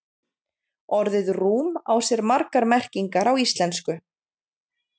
Orðið rúm á sér margar merkingar í íslensku.